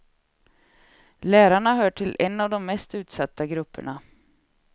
Lärarna hör till en av de mest utsatta grupperna.